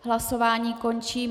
Hlasování končím.